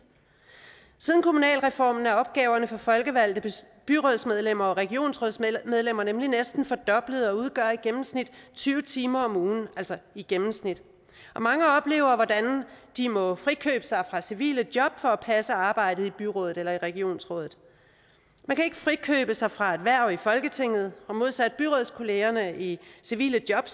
siden kommunalreformen er opgaverne for folkevalgte byrådsmedlemmer og regionsrådsmedlemmer nemlig næsten fordoblet og udgør i gennemsnit tyve timer om ugen altså i gennemsnit og mange oplever hvordan de må frikøbe sig fra civile job for at passe arbejdet i byrådet eller i regionsrådet man kan ikke frikøbe sig fra sit hverv i folketinget og modsat byrådskollegerne i civile job